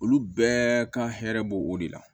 Olu bɛɛ ka hɛrɛ b'o o de la